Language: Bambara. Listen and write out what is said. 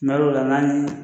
hal'o la n'an ye